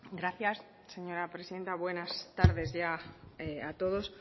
gracias señora presidenta buenas tardes a todos